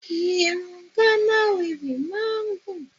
Irun Ghana weaving máa ń gùn